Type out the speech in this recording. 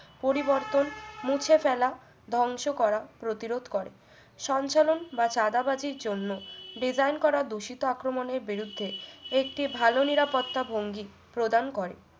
পরিবর্তন মুছে ফেলা ধ্বংস করা প্রতিরোধ করে সঞ্চালন বা সাদাবতীর জন্য design করা দূষিত আক্রমণের বিরুদ্ধে একটি ভালো নিরাপত্তা ভঙ্গি প্রদান করে